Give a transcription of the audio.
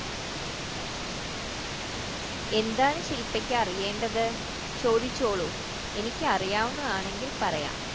എന്താണ് ശിൽപ്പയ്ക്ക് അറിയേണ്ടത് ചോദിച്ചോളൂ എനിക്ക് അറിയാവുന്നതാണെങ്കിൽ പറയാം